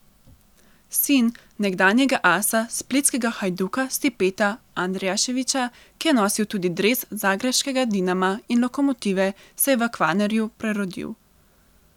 Sin nekdanjega asa splitskega Hajduka Stipeta Andrijaševića, ki je nosil tudi dres zagrebškega Dinama in Lokomotive, se je v Kvarnerju prerodil.